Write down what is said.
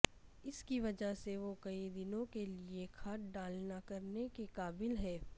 اس کی وجہ سے وہ کئی دنوں کے لئے کھاد ڈالنا کرنے کے قابل ہیں